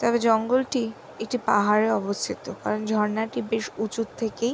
তবে জঙ্গল টি একটি পাহাড়ে অবস্থিত কারণ ঝরনাটি বেশ উঁচুর থেকেই --